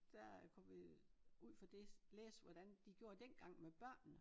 Der kom vi øh ud for det læste hvordan de gjorde dengang med børnene